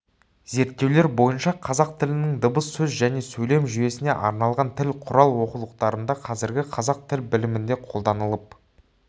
зерттеулер бойынша қазақ тілінің дыбыс сөз және сөйлем жүйесіне арналған тіл құрал оқулықтарында қазіргі қазақ тіл білімінде қолданылып